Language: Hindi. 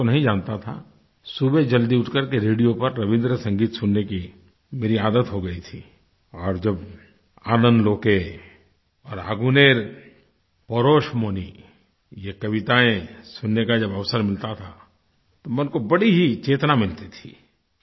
भाषा तो नहीं जानता था सुबह जल्दी उठ करके रेडियो पर रबीन्द्र संगीत सुनने की मेरी आदत हो गई थी और जब आनंदलोके और आगुनेर पोरोशमोनी ये कविताएँ सुनने का जब अवसर मिलता था मन को बड़ी ही चेतना मिलती थी